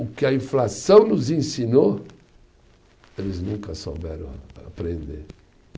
O que a inflação nos ensinou, eles nunca souberam a aprender.